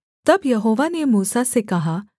तब यहोवा ने मूसा से कहा